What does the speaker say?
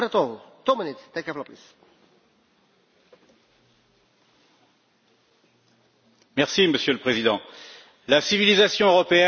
Monsieur le Président, la civilisation européenne est à l'origine de la proclamation des droits de l'homme, c'est un de ces titres de gloire dont nous pouvons être fiers.